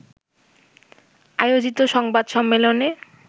আয়োজিত সংবাদ সম্মেলনে